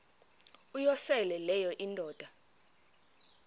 uyosele leyo indoda